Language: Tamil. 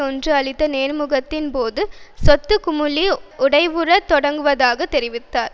ஒன்று அளித்த நேர்முகத்தின் போது சொத்து குமிழி உடைவுறத் தொடங்குவதாக தெரிவித்தார்